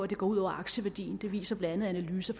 det går ud over aktieværdien det viser blandt andet analyser